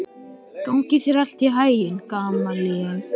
Gangi þér allt í haginn, Gamalíel.